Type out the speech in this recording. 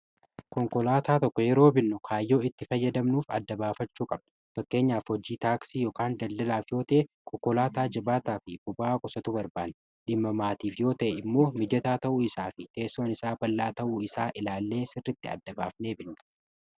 konkolaataa tokko yeroo binno kaayyoo itti fayyadamnuuf adda-baafachuu qabnu bakkeenyaaf hojii taaksii y daldalaaf yootee konkolaataa jibaataa fi buba'a kusatu barbaan dhimamaatiif yoo ta'e immoo mijataa ta'uu isaa fi teessoon isaa ballaa ta'uu isaa ilaallee sirritti adda-baafnee binnu